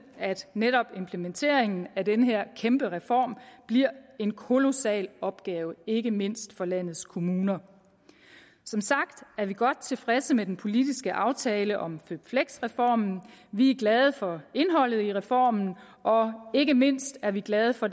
at netop implementeringen af den her kæmpe reform bliver en kolossal opgave ikke mindst for landets kommuner som sagt er vi godt tilfredse med den politiske aftale om føpfleks reformen vi er glade for indholdet i reformen og ikke mindst er vi glade for